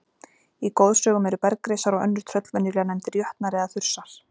Í goðsögum eru bergrisar og önnur tröll venjulega nefndir jötnar eða þursar.